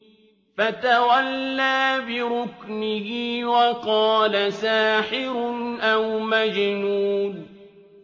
فَتَوَلَّىٰ بِرُكْنِهِ وَقَالَ سَاحِرٌ أَوْ مَجْنُونٌ